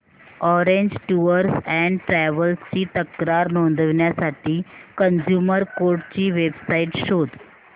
orange tours and travels ची तक्रार नोंदवण्यासाठी कंझ्युमर कोर्ट ची वेब साइट शोध